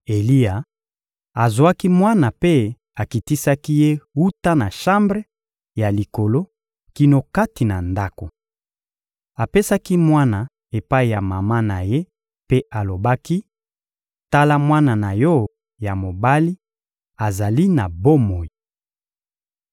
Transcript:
Eliya azwaki mwana mpe akitisaki ye wuta na shambre ya likolo kino kati na ndako. Apesaki mwana epai ya mama na ye mpe alobaki: — Tala mwana na yo ya mobali, azali na bomoi.